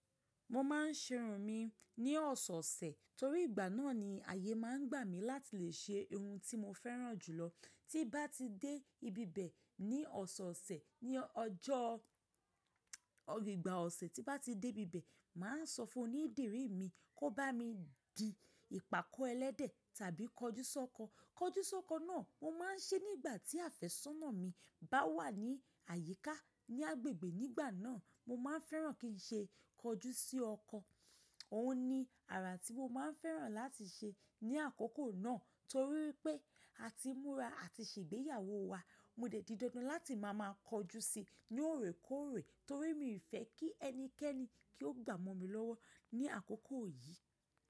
Mo máa ń ṣerun mi ní ọ̀sẹ̀-ọ̀sẹ̀ torí ìgbà náà ni ayé máa ń gbà mí láti lè ṣe irun ti mo fẹ́ràn jù lọ. Tí mbá ti dé ibibẹ̀ ní ọ̀sẹ̀ọ̀sẹ̀ ní ọjọ́ ìgbà ọ̀sẹ̀ tí mbá ti dé ibibẹ̀, màá sọ fún onídìrí mi kó bá mi di ìpàkọ́ ẹlẹ́dẹ̀ tàbí kọjúsọ́kọ. Kọjúsọ́kọ náà mo máa ń ṣe nígbà tí àfẹ́sọ́nà mi bá wà ní àyíká ní agbègbè nígbà náà. Mo máa ń fẹ́ràn kí n ṣe kọjú sí ọkọ. Ó ní ara tí mo máa ń fẹ́ràn láti ṣe ní àkókò náà torí wípé a ti múra àti ṣègbéyàwó wa. Mo dẹ̀ di dandan láti máa máa kọjú sí i ní òrékóòrè torí mi ò fẹ́ kí ẹnikẹ́ni kí ó gbà mọ́ mi lọ́wọ́ ní àkókò yìí.